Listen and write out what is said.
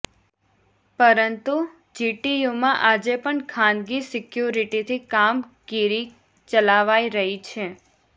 પરંતુ જીટીયુમાં આજે પણ ખાનગી સિક્યુરિટીથી કામગીરી ચલાવાઈ રહી છે